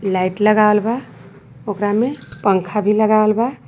लाइट लगावल बा ओकरा में पंखा भी लगावल बा।